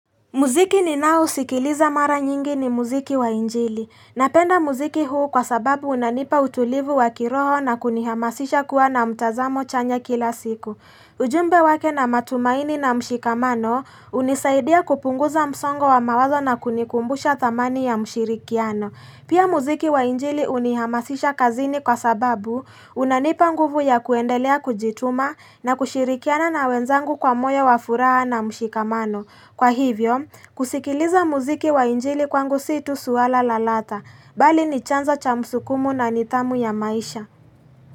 Muziki ninao sikiliza mara nyingi ni muziki wa injili. Napenda muziki huu kwa sababu unanipa utulivu wa kiroho na kunihamasisha kuwa na mtazamo chanya kila siku. Ujumbe wake na matumaini na mshikamano unisaidia kupunguza msongo wa mawazo na kunikumbusha dhamani ya mshirikiano. Pia muziki wa injili unihamasisha kazini kwa sababu unanipa nguvu ya kuendelea kujituma na kushirikiana na wenzangu kwa moyo wa furaha na mshikamano. Kwa hivyo, kusikiliza mziki wa injili kwangu si tu swala la lata, bali ni chanzo cha msukumo na nidhamu ya maisha.